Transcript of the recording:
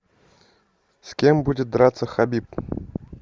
с кем будет драться хабиб